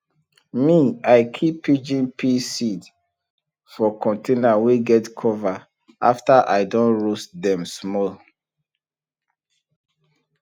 me i keep pigeon pea seeds for container wey get cover after i don roast dem small